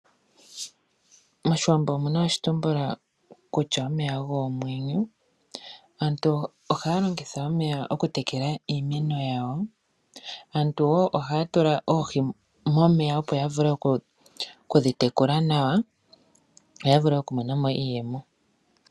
Moshiwambo omuna oshitumbula kutya omeya ogo omwenyo. Aantu ohaya longitha omeya okutekela iimeno yawo ,aantu wo ohaya tula oohi momeya opo ya vule okudhi tekula nawa yo ya vule oku monamo iiyemo.